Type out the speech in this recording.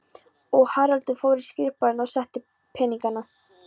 Og Haraldur fór í skrifborðið og sótti peningana.